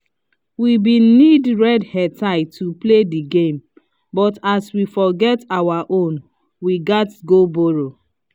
we been need red headtie to play the game but as we forget our own we gats go borrow